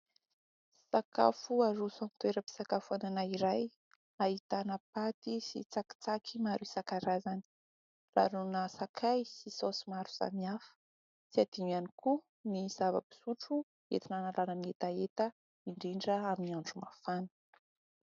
Sakafo aroso amin'ny toeram-pisakafoanana iray, ahitana paty sy tsakitsaky maro isan-karazany, ranona sakay sy saosy maro samihafa, tsy adino ihany koa ny zava-pisotro entina hanalana hetaheta indrindra amin'ny andro mafana.